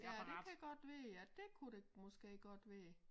Ja det kan godt være ja dét kunne det måske godt være ja